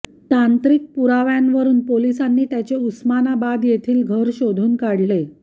तांत्रिक पुराव्यांवरून पोलिसांनी त्याचे उस्मानाबाद येथील घर शोधून काढले